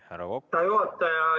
Härra juhataja!